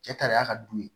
Cɛ tar'a ka du ye